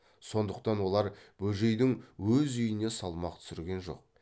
сондықтан олар бөжейдің өз үйіне салмақ түсірген жоқ